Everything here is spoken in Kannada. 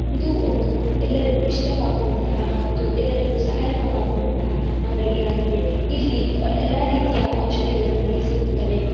ಇದು ಒಂದು ಎಲ್ಲರಿಗೂ ಇಷ್ಟವಾಗುವಂತಹ ಮತ್ತು ಎಲ್ಲರಿಗೂ ಸಹಾಯಕವಾಗುವಂತಹ ಅಂಗಡಿಯಾಗಿದೆ ಇಲ್ಲಿ ಆಹ್ ಎಲ್ಲಾ ರೀತಿಯಾ ಔಷಾದಿಗಳು ನಮಗೇ ಸಿಗುತ್ತದೆ.